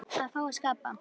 Að fá að skapa.